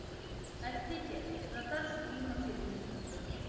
әсіресе жастар үшін үй мәселесі күйіп тұр